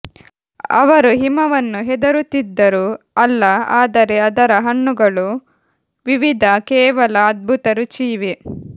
ಅವರು ಹಿಮವನ್ನು ಹೆದರುತ್ತಿದ್ದರು ಅಲ್ಲ ಆದರೆ ಅದರ ಹಣ್ಣುಗಳು ವಿವಿಧ ಕೇವಲ ಅದ್ಭುತ ರುಚಿ ಇವೆ